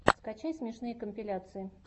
скачай смешные компиляции